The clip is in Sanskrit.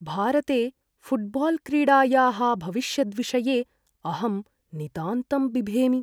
भारते फ़ुट्बाल्क्रीडायाः भविष्यद्विषये अहं नितान्तं बिभेमि।